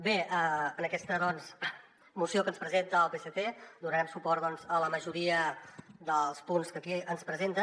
bé en aquesta moció que ens presenta el psc donarem suport doncs a la majoria dels punts que aquí ens presenten